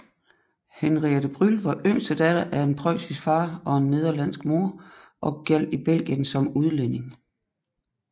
Henriette Brüll var yngste datter af en preussisk far og en nederlandsk mor og gjaldt i Belgien som udlænding